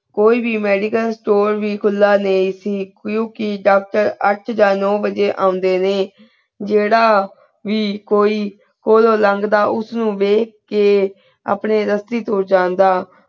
ਕੋਈ ਵੀ medical store ਕੁਲਾ ਜੇ ਅਸੀਂ ਕ੍ਯੂਂ ਕੇ doctor ਅੱਠ ਯਾ ਨੋ ਬਾਜੀ ਓਨ੍ਡੇ ਨੇ ਜੀਰਾ ਵੀ ਕੋਈ ਕੋਲੋ ਨੰਗ ਦਾ ਉਸ ਨੂ ਵਿਖ ਕੇ ਅਪਨੇ ਰਾਸਿ ਤੋ ਜਾਂਦਾ